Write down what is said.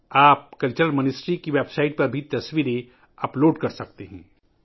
آپ وزارت ثقافت کی ویب سائٹ پر بھی تصاویر اپ لوڈ کر سکتے ہیں